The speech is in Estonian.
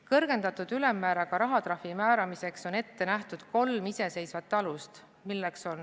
Kõrgendatud ülemmääraga rahatrahvi määramiseks on ette nähtud kolm iseseisvat alust.